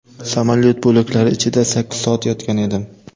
Samolyot bo‘laklari ichida sakkiz soat yotgan edim.